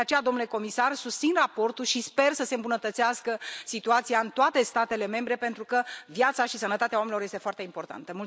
De aceea, domnule comisar, susțin raportul și sper să se îmbunătățească situația în toate statele membre pentru că viața și sănătatea oamenilor sunt foarte importante.